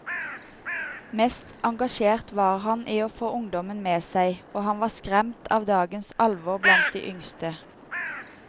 Mest engasjert var han i å få ungdommen med seg, og han var skremt av dagens alvor blant de yngste.